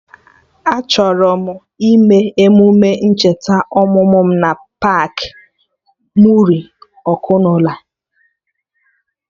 Achọrọ m ime emume ncheta ọmụmụ mụ na paakị Muri Ọkụnola